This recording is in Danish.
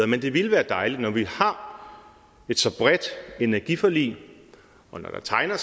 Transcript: men det ville være dejligt når vi har et så bredt energiforlig og når der tegner